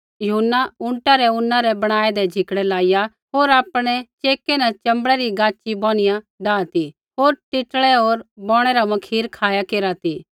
यूहन्ना ऊँटा रै ऊना रै बणाऐदै झिकड़ै लाइया होर आपणै चेकै न च़ंबड़ै री गाच़ी बौनिया डाह ती होर टिट्ड़ै होर बौणै रा मखीर खाया केरा ती